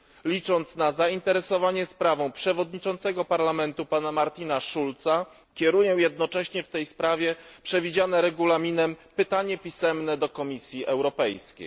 Licząc na zainteresowanie sprawą przewodniczącego Parlamentu, pana Martina Schulza, kieruję jednocześnie w tej sprawie przewidziane Regulaminem pytanie pisemne do Komisji Europejskiej.